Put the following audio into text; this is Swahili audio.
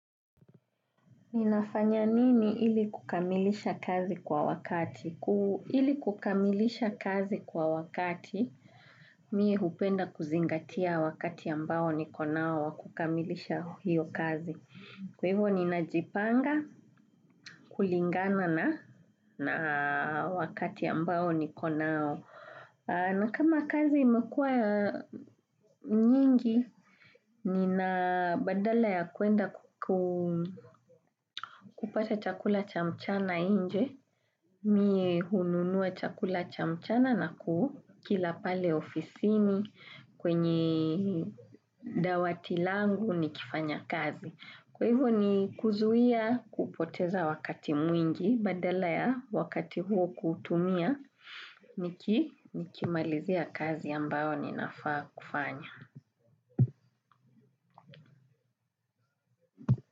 Ninafanya nini ili kukamilisha kazi kwa wakati? Ili kukamilisha kazi kwa wakati, mimi hupenda kuzingatia wakati ambao niko nao wa kukamilisha hiyo kazi. Kwa hivo ninajipanga, kulingana na wakati ambao niko nao. Na kama kazi imekuwa nyingi nina badala ya kuenda kupata chakula cha mchana nje mie hununua chakula cha mchana na kukila pale ofisini kwenye dawati langu nikifanya kazi. Kwa hivyo ni kuzuia kupoteza wakati mwingi badala ya wakati huo kuutumia nikimalizia kazi ambayo ninafaa kufanya.